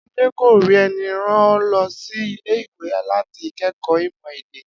Adé kò rí e̩ni ran o lo̩ sí ilé-ìwé láti ké̩kòó ímò̩ èdè